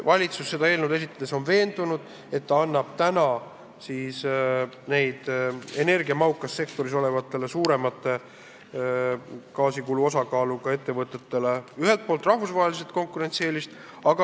Valitsus on seda eelnõu esitades veendunud, et ta lisab energiamahukas sektoris tegutsevatele ja rohkelt gaasi tarbivatele ettevõtetele rahvusvahelist konkurentsieelist.